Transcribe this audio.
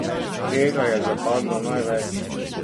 Kje ga je zapadlo največ?